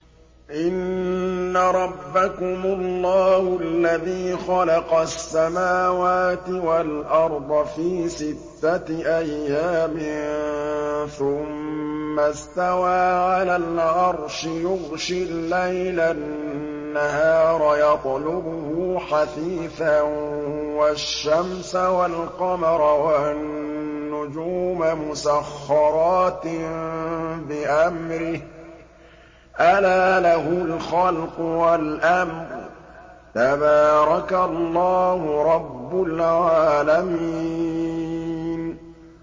إِنَّ رَبَّكُمُ اللَّهُ الَّذِي خَلَقَ السَّمَاوَاتِ وَالْأَرْضَ فِي سِتَّةِ أَيَّامٍ ثُمَّ اسْتَوَىٰ عَلَى الْعَرْشِ يُغْشِي اللَّيْلَ النَّهَارَ يَطْلُبُهُ حَثِيثًا وَالشَّمْسَ وَالْقَمَرَ وَالنُّجُومَ مُسَخَّرَاتٍ بِأَمْرِهِ ۗ أَلَا لَهُ الْخَلْقُ وَالْأَمْرُ ۗ تَبَارَكَ اللَّهُ رَبُّ الْعَالَمِينَ